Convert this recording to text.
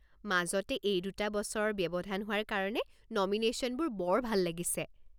মাজতে এই দুটা বছৰৰ ব্যৱধান হোৱাৰ কাৰণে নমিনেশ্যনবোৰ বৰ ভাল লাগিছে।